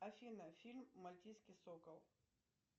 афина фильм мальтийский сокол